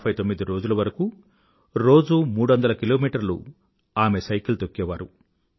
159 రోజులవరకూ రోజూ మూడొందల కిలోమీటర్లు సైకిల్ తొక్కేవారు